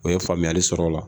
O ye faamuyali sɔrɔ o la